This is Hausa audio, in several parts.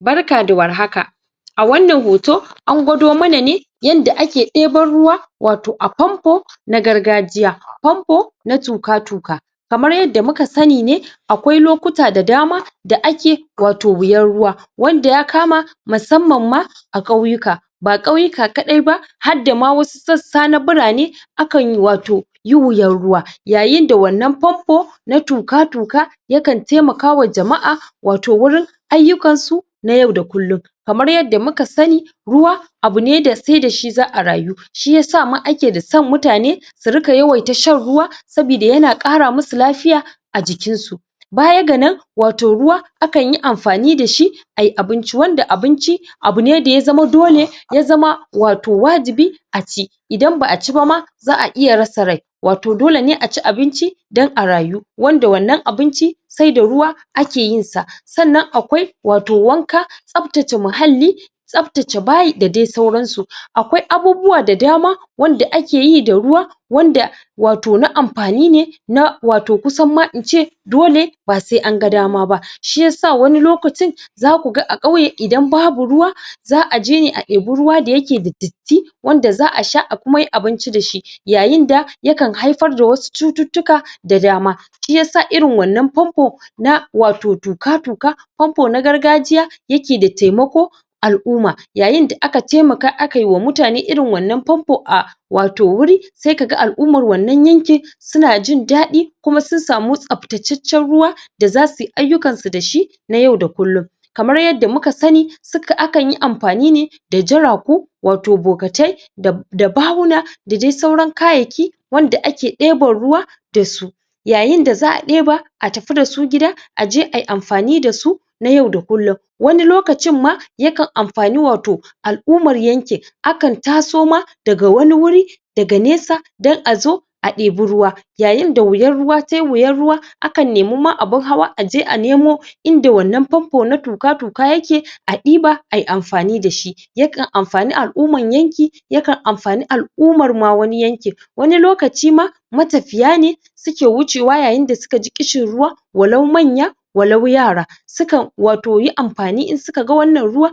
Barka da warhaka a wannan hoto an gwado mana ne yanda ake ɗeban ruwa wato a pampo na gargajiya pampo na tuka tuka kamar yadda muka sani ne akwai lokuta da dama da ake wato wuyan ruwa wanda ya kama masamman ma a ƙauyuka ba ƙauyuka kaɗai ba hadda ma wasu sassa na birane a kan wato yi wuyan ruwa yayin da wannan pampo na tuka tuka ya kan taimakawa jama'a wato wurin ayyukansu na yau da kullun kamar yadda muka sani ruwa abu ne da sai dashi za'a rayu shiyasa ma ake da son mutane su riƙa yawaita shan ruwa sabida yana ƙara musu lafiya a jikin su baya ga nan wato ruwa akanyi anfani dashi ayi abinci wanda abinci abu ne da ya zama dole ya zama wato wajibi a ci idan ba'a ci bama za'a iya rasa rai wato dole ne a ci abinci don a rayu wanda wannan abinci sai da ruwa ake yinsa sannan akwai wato wanka tsaftace muhalli tsaftace bayi da dai sauransu akwai abubuwa da dama wanda akeyi da ruwa wanda wato na ampani ne na wato kusan ma ince dole ba sai an ga dama ba shiyasa wani lokacin zaku ga a ƙauye idan babu ruwa za'aje ne a debi ruwa da yake da datti wanda xa'a sha a kuma yi abinci dashi yayin da ya kan haifar da wasu cututtuka da dama shiyasa irin wannan pampo na wato tuka tuka pampo na gargajiya yake da taimako al'uma yayin da aka taimaka akai wa mutane irin wannan pampo a wato wuri sai kaga al'umar wannan yanki suna jin daɗi kuma sun samu tsaftacaccan ruwa da zasuyi ayyukansu dashi na yau da kullun kamar yadda muka sani akan yi ampani ne da jaraku wato bokatai da bahuna da dai sauran kayayyaki wanda ake ɗeban ruwa dasu yayin da za'a ɗeba a tafi dasu gida aje ayi amfani dasu na yau da kullun wani lokacin ma ya kan ampani wato al'umar yankin akan taso ma daga wani wuri daga nesa don azo a ɗebi ruwa yayin da wuyan ruwa tai wuyan ruwa akan nemi ma abin hawa aje a nemo inda wannan pampo na tuka tuka yake a ɗiba ayi ampani dashi yakan amfani al'uman yanki yakan amfani al'umar ma wani yankin wani lokaci ma matafiya ne suke wucewa yayin da suka ji ƙishin ruwa walau manya walau yara su kan wato yi ampani in suka ga wannan ruwa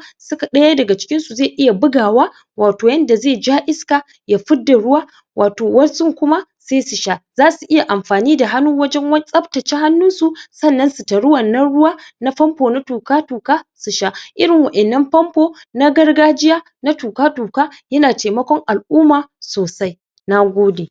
ɗaya daga cikinsu zai iya bugawa wato yanda zai ja iska ya fidda ruwa wato wasun kuma sai su sha zasu iya ampani da hannu wajen tsaftace hannun su sannan su tari wannan ruwa na pampo na tuka tuka su sha irin wa'innan pampo na gargajiya na tuka tuka yana taimakon al'uma sosai nagode